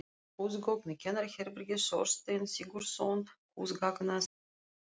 Húsgögn í kennaraherbergi: Þorsteinn Sigurðsson, húsgagnasmíðameistari.